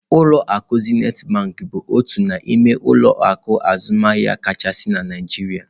Ulọ akụ Zenith bụ otu n'ime ụlọ akụ azụmaahịa kachasị na Naijiria.